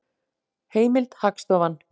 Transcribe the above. Heimild: Hagstofan.